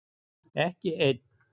Ekki einn